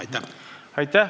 Aitäh!